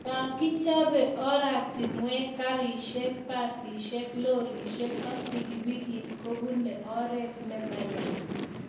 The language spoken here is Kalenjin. Ya kichope oratinwek ,garishek, busishek ,lorishek ak pikipikit ko pune oret ne maya